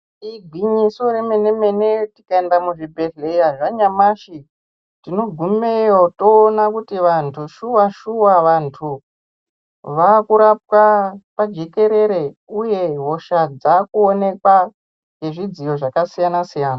Igwinyiso remenemene tikaenda muzvibhedhlera zvanyamashi tinogumeyo toona kuti vantu shuwa shuwa vantu vakurapwa pajekerere uye hosha dzakuonekwa nezvidziyo zvakasiyana siyana.